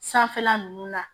Sanfɛla ninnu na